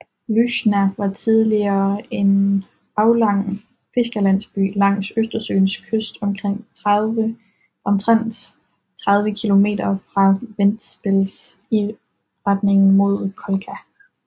Lūžņa var tidligere en aflang fiskerlandsby langs Østersøens kyst omtrent 30 kilometer fra Ventspils i retning mod Kolka